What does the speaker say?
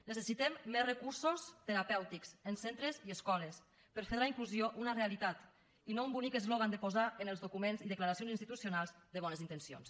necessitem més recursos terapèutics en centres i escoles per fer de la inclusió una realitat i no un bonic eslògan de posar en els documents i declaracions institucionals de bones intencions